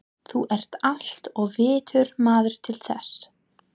Þú ert allt of vitur maður til þess.